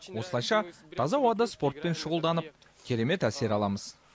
осылайша таза ауада спортпен шұғылданып керемет әсер аламыз